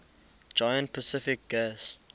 giant pacific gas